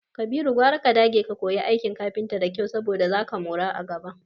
Kabiru, gwara ka dage ka koya aikin kafinta da kyau saboda zaka mora a gaba.